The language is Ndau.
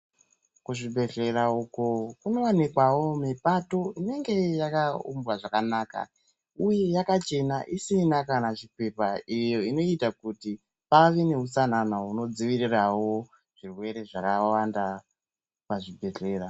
Ku zvibhedhleya uko kuno wanikwawo mipato inenge yaka umbwa zvakanaka uye yakachena isina kana chipepa iyo inoita kuti pave ne utsanana huno dzivirirawo zvirwere zvakawanda pa zvibhedhlera.